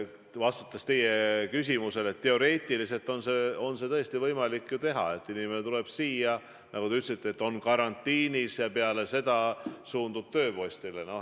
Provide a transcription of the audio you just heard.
Vastates teie küsimusele ütlen, et teoreetiliselt on tõesti võimalik nii teha, et inimene tuleb siia, nagu te ütlesite, on karantiinis ja peale seda suundub tööpostile.